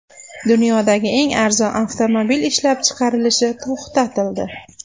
Dunyodagi eng arzon avtomobil ishlab chiqarilishi to‘xtatildi.